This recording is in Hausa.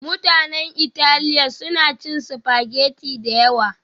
Mutanen Italiya suna cin spaghetti da yawa